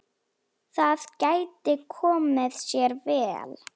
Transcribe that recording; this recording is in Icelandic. Það gæti komið sér vel.